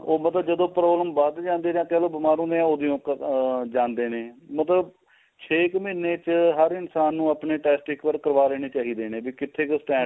ਉਹ ਪਤਾ ਜਦੋ problem ਵੱਧ ਜਾਂਦੀ ਏ ਅੱਗੇ ਜਦੋ ਬੀਮਾਰ ਹੁੰਦੇ ਆ ਉਹਦੋ ਈ ਉਹ ਆ ਜਾਂਦੇ ਨੇ ਮਤਲਬ ਛੇ ਕ ਮਹੀਨੇ ਚ ਹਰ ਇਨਸਾਨ ਨੂੰ ਆਪਣੇ test ਇੱਕ ਵਾਰ ਕਰਵਾ ਲੈਣੇ ਚਾਹੀਦੇ ਨੇ ਬੀ ਕਿੱਥੇ ਕ stand